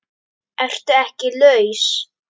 Ertu ekki laus?